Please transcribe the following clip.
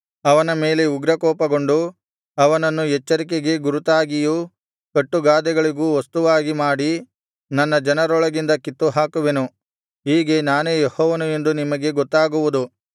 ಅವನ ಮೇಲೆ ಉಗ್ರಕೋಪಗೊಂಡು ಅವನನ್ನು ಎಚ್ಚರಿಕೆಗೆ ಗುರುತಾಗಿಯೂ ಕಟ್ಟು ಗಾದೆಗಳಿಗೂ ವಸ್ತುವಾಗಿ ಮಾಡಿ ನನ್ನ ಜನರೊಳಗಿಂದ ಕಿತ್ತುಹಾಕುವೆನು ಹೀಗೆ ನಾನೇ ಯೆಹೋವನು ಎಂದು ನಿಮಗೆ ಗೊತ್ತಾಗುವುದು